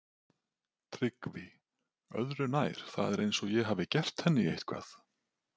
TRYGGVI: Öðru nær, það er eins og ég hafi gert henni eitthvað.